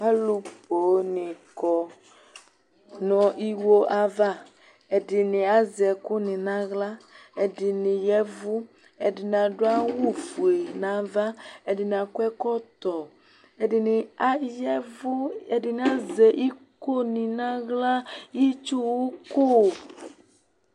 Alu poo ni kɔnu iwo ayava ɛdini azɛ ɛku nu aɣla ɛdini yavu ɛdini adu awu ofue nava ɛdini akɔ ɛkɔtɔ ɛdini ayavu ɛdini azɛ iko nu naɣla itsu uku